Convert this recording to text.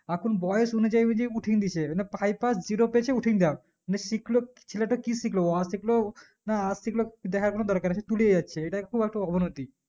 এখন বয়েস অনুযায়ী উঠিন দিচ্ছে মানে পাই pass zero পেচে উথিন দেও মানে শিখলো ছেলেটা কি শিখলো অ শিখলো না আ শিখলো দেখার কোনো দরকার তুলে যাচ্ছে ইটা একটু আঅবনতি